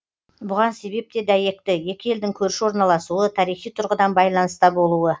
бұған себеп те дәйекті екі елдің көрші орналасуы тарихи тұрғыдан байланыста болуы